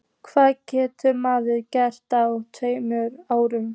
Hvað getur maður gert á tveimur árum?